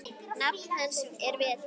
Nafn hans er Vetur.